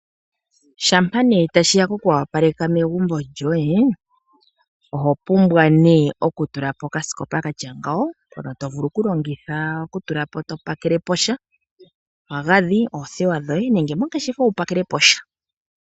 Ngele tashiya pokoopaleka megumbo lyoye ,oho pumbwa okutulapo okasikopa hono tovulu okulongitha okutulapo topakelepo sha omagadhi oothewa nayilwe.